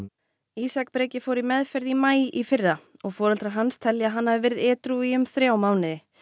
Ísak Breki fór í meðferð í maí í fyrrra og foreldrar hans telja að hann hafi verið edrú í um þrjá mánuði